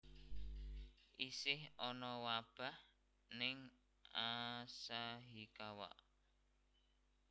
Isih ono wabah ning Asahikawa